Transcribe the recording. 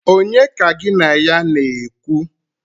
Onye ka gin a ya na-ekwu?